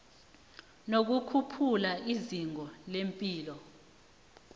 nokukhuphula izinga lepilo